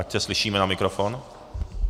Ať se slyšíme na mikrofon.